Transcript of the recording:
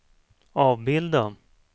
avbilda